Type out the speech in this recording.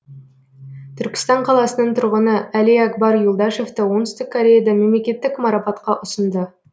түркістан қаласының тұрғыны әлиакбар юлдашевті оңтүстік кореяда мемлекеттік марапатқа ұсынды